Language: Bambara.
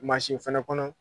Mansin fɛnɛ kɔnɔ.